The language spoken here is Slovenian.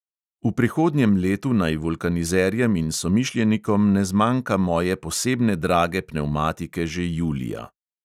V prihodnjem letu naj vulkanizerjem in somišljenikom ne zmanjka moje posebne drage pnevmatike že julija.